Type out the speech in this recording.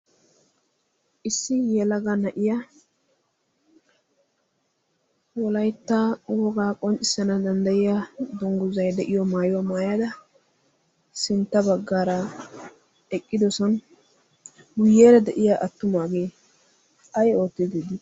issi yelaga na'iya wolaittaa wogaa qonccissana danddayiya dungguzay de'iyo maayuwaa maayada sintta baggaara eqqidosan guyyeera de'iya attumaagee ay oottiidi dii?